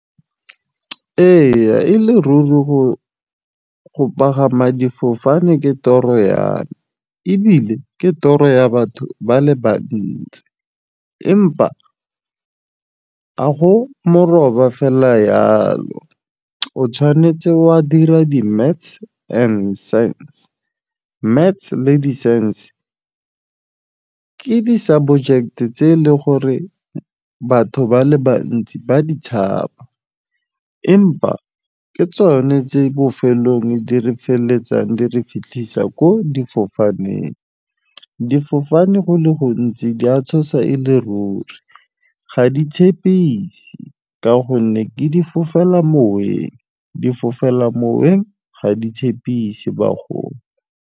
Ee e le ruri go pagama difofane ke toropo ya me ebile ke toro ya batho ba le bantsi empa a go meroba fela yalo, o tshwanetse wa dira di maths and science. Maths le di ke di tse e leng gore batho ba le bantsi ba di tshaba empa ke tsone tse bofelong e di re feleletsang di re fitlhisa ko difofaneng. Difofane go le gontsi di a tshosa e le ruri, ga di tshepise ka gonne ke difofela-moweng, difofela-moweng ga di tshepise bagolo.